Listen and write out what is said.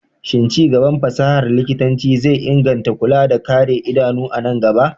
Shin ci gaban fasahar likitanci zai inganta kulawa da kare idanu a nan gaba?